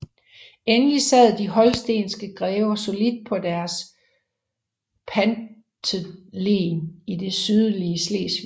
Endelig sad de holstenske grever solidt på deres pantelen i det sydlige Slesvig